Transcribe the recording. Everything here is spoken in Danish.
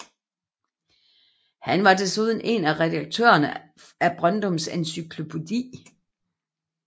Han var desuden en af redaktørerne af Brøndums Encyklopædi